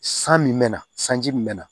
San min mɛna sanji min na